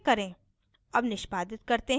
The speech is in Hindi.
save पर click करें